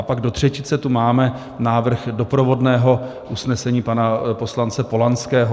A pak do třetice tu máme návrh doprovodného usnesení pana poslance Polanského.